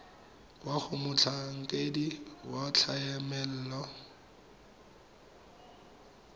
kwa go motlhankedi wa tlamelo